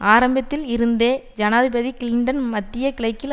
ஆரம்பத்தில் இருந்தே ஜனாதிபதி கிளின்டன் மத்திய கிழக்கில்